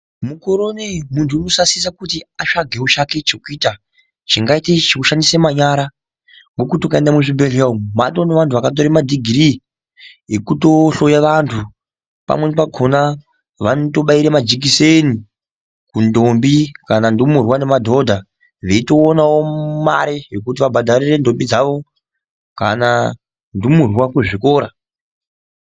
Mukore unouyi muntu unosasisa kuti atsvagewo chake chekuita chingaite chekushandise manyara, nekuti ukaenda kuzvibhedlera umu, maatone anhu vakatore madegree yekuto hloya vantu pamweni pakona vanotobayire majekiseni kuntombi, kanantumurwa nemadodha veyitowanawo mari yekuti vabhadharire ntombi dzavo kana ntumurwa kuzvikora.